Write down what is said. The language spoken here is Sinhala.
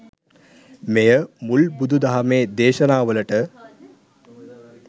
මෙය මුල් බුදු දහමේ දේශනාවලට